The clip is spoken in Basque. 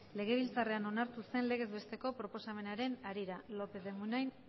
legebiltzarrean onartu zen legez besteko proposamenaren harira lópez de munain